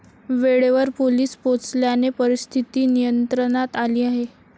वेळेवर पोलिस पोचल्याने परिस्थीती नियंत्रणात आली आहे.